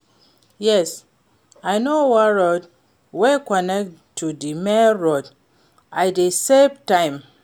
Yes, i know one road wey connect to di main road, e dey save time.